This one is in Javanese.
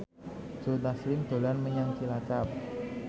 Joe Taslim dolan menyang Cilacap